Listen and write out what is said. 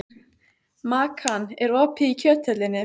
Makan, er opið í Kjöthöllinni?